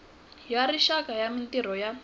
ya rixaka ya mintirho ya